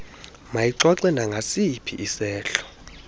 mayixoxe nangasiphi isehlo